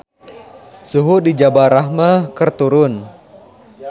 Suhu di Jabal Rahmah keur turun